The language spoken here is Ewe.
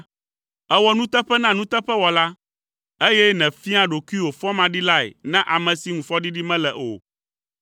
Èwɔa nuteƒe na nuteƒewɔla, eye nèfiaa ɖokuiwò fɔmaɖilae na ame si ŋu fɔɖiɖi mele o.